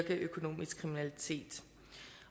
økonomisk kriminalitet